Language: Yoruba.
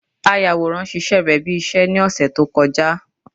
Ayàwòrá ṣíṣe rẹ̀ bí iṣẹ́ ní ọ̀sẹ̀ tó kọjá